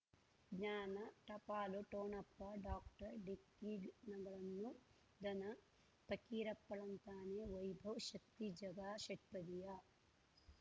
ಜ್ಞಾನ ಟಪಾಲು ಠೊಣಪ ಡಾಕ್ಟರ್ ಢಿಕ್ಕಿ ಣಗಳನು ಧನ ಫಕೀರಪ್ಪ ಳಂತಾನೆ ವೈಭವ್ ಶಕ್ತಿ ಝಗಾ ಷಟ್ಪದಿಯ